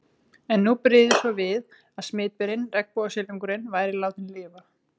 En nú brygði svo við að smitberinn, regnbogasilungurinn, væri látinn lifa.